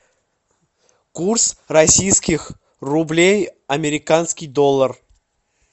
курс российских рублей американский доллар